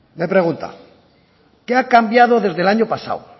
me pregunta qué ha cambiado desde el año pasado